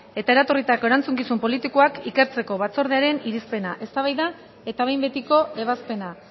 eta eratorritako erantzukizun politikoak ikertzeko batzordearen irizpena eztabaida eta behin betiko ebazpena